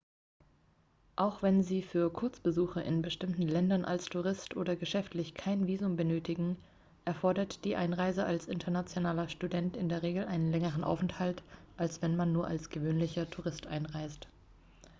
auch wenn sie für kurzbesuche in bestimmten ländern als tourist oder geschäftlich kein visum benötigen erfordert die einreise als internationaler student in der regel einen längeren aufenthalt als wenn man nur als gewöhnlicher tourist einreist